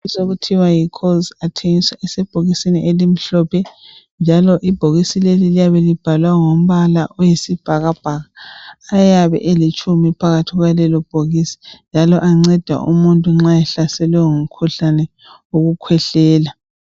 icoles isebhokisini elimhlophe njalo ibhokisi leli liyabe libhalwe ngombala oyisibhakabhaka ayabe elitshumi phakathi kwalelo bhokisi njalo anceda umuntu nxa ehlaselwe ngumkhuhlane wokukhwehlela